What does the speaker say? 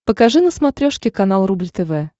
покажи на смотрешке канал рубль тв